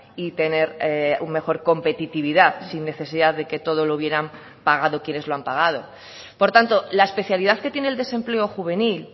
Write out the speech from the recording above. y tener un mejor competitividad sin necesidad de que todo lo hubieran pagado quienes lo han pagado por tanto la especialidad que tiene el desempleo juvenil